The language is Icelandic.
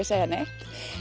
segja neitt